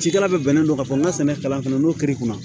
Cikɛla bɛ bɛnnen don ka fɔ n ka sɛnɛ kalan fana n'o kiri kunna